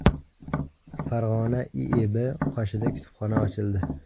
Farg‘ona IIB qoshida kutubxona ochildi.